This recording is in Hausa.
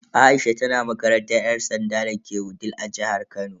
Aisha tana makarantar yan sanda dake Wudil a jihar Kano.